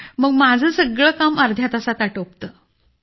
मग माझं सगळं काम अर्ध्या तासात आटोपतं